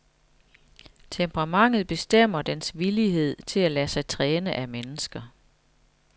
Temperamentet bestemmer dens villighed til at lade sig træne af mennesker.